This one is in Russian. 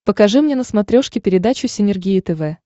покажи мне на смотрешке передачу синергия тв